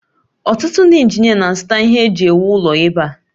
Otụtụ ndị injinia na-azụta ihe eji ewu ụlọ ebe a